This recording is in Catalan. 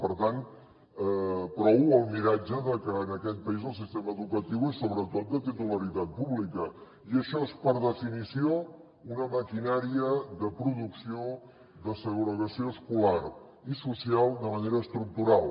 per tant prou el miratge que en aquest país el sistema educatiu és sobretot de titularitat pública i això és per definició una maquinària de producció de segregació escolar i social de manera estructural